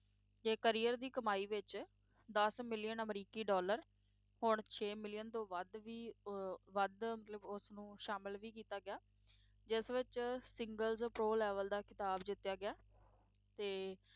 ਤੇ career ਦੀ ਕਮਾਈ ਵਿੱਚ ਦੱਸ million ਅਮਰੀਕੀ dollar ਹੁਣ ਛੇ million ਤੋਂ ਵੱਧ ਵੀ ਅਹ ਵੱਧ ਮਤਲਬ ਉਸ ਨੂੰ ਸ਼ਾਮਲ ਵੀ ਕੀਤਾ ਗਿਆ, ਜਿਸ ਵਿੱਚ singles pro level ਦਾ ਖਿਤਾਬ ਜਿੱਤਿਆ ਗਿਆ, ਤੇ